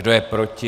Kdo je proti?